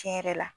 Tiɲɛ yɛrɛ la